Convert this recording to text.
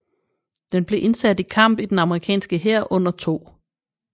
Den blev indsat i kamp i den amerikanske hær under 2